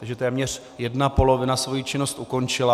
Tedy téměř jedna polovina svoji činnost ukončila.